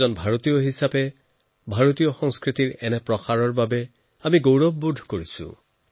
এজন ভাৰতীয় হৈ ভাৰতীয় সংস্কৃতিৰ এই প্ৰসাৰৰ বাবে লোৱা পদক্ষেপৰ বাবে মই গৌৰৱ বোধ কৰিছো